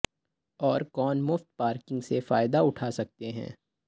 اور کون مفت پارکنگ سے فائدہ اٹھا سکتے ہیں